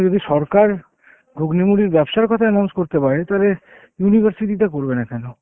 যদি সরকার ঘুগনি মুড়ির ব্যাবসার কথা announce করতে পারে তাহলে university টা করবে না কেন?